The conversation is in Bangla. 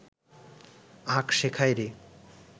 আঁক শেখায় রে